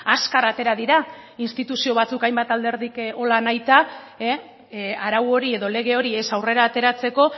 azkar atera dira instituzio batzuk hainbat alderdik hola nahita arau hori edo lege hori ez aurrera ateratzeko